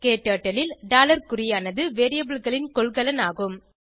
க்டர்ட்டில் ல் குறியானது variableகளின் கொள்கலன் ஆகும்